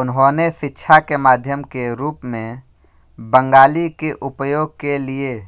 उन्होंने शिक्षा के माध्यम के रूप में बंगाली के उपयोग के लिए